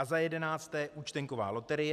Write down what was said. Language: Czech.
A za jedenácté, účtenková loterie.